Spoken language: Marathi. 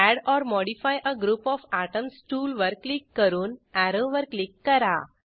add or modify a group of atoms टूलवर क्लिक करून अॅरोवर क्लिक करा